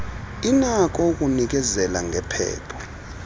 inakho ukunikezela ngephepha